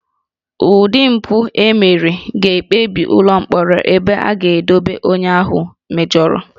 Ụdị mpụ e mere ga-ekpebi ụlọ mkpọrọ ebe a ga-edobe onye ahụ mejọrọ